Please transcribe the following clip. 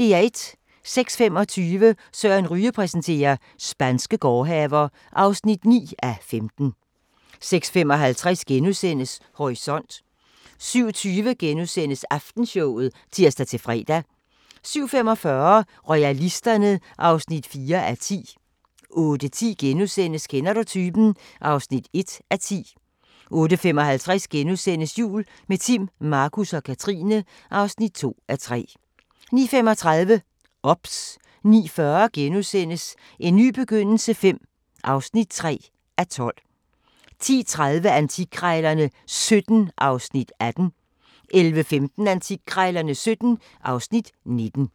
06:25: Søren Ryge præsenterer: Spanske gårdhaver (9:15) 06:55: Horisont * 07:20: Aftenshowet *(tir-fre) 07:45: Royalisterne (4:10) 08:10: Kender du typen? (1:10)* 08:55: Jul – med Timm, Markus og Katrine (2:3)* 09:35: OBS 09:40: En ny begyndelse V (3:12)* 10:30: Antikkrejlerne XVII (Afs. 18) 11:15: Antikkrejlerne XVII (Afs. 19)